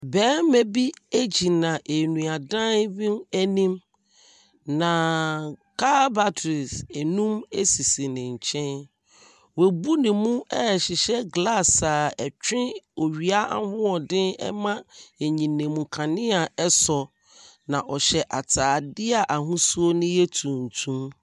Barima bi egyina nnua dan bi anim na car battery nnum esisi ne kyɛn. Wɔbu ne mu ɛhyehyɛ glass a ɛtwe owia ahoɔden ɛma ɛnyinam kanea ɛsɔ na ɔhyɛ ataadeɛ a ahosuo no yɛ tuntum.